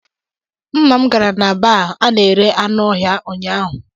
Nna m gara na baa ana-ere anụ ọhịa ụnyahụ.